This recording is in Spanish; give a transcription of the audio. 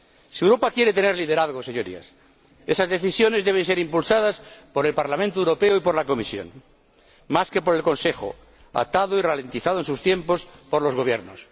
Si Europa quiere tener liderazgos, Señorías, esas decisiones deben ser impulsadas por el Parlamento Europeo y por la Comisión, más que por el Consejo, atado y ralentizado en sus tiempos por los gobiernos.